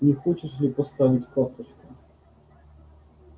не хочешь ли поставить карточку